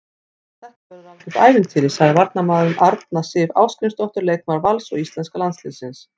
Þetta verður algjört ævintýri, sagði varnarmaðurinn, Arna Sif Ásgrímsdóttir leikmaður Vals og íslenska landsliðsins.